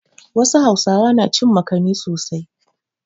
Wasu Hausawa na cin makani sosai.